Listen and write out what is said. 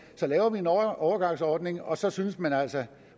så laver vi en overgangsordning og så synes man altså